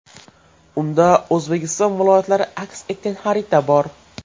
Unda O‘zbekiston viloyatlari aks etgan xarita bor.